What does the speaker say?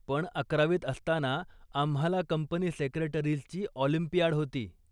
पण अकरावीत असताना आम्हाला कंपनी सेक्रेटरीजची ऑलिंपियाड होती.